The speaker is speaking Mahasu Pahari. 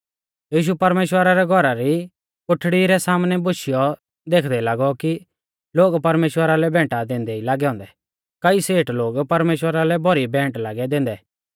यीशु परमेश्‍वरा रै घौरा री कोठड़ी रै सामनै बोशियौ देखदै लागौ कि लोग परमेश्‍वरा लै भैंटा दैंदै ई लागै औन्दै कईऐ सेठ लोग परमेश्‍वरा लै भौरी भेंट लागै दैंदै